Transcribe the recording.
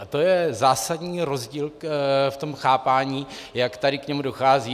A to je zásadní rozdíl v tom chápání, jak tady k němu dochází.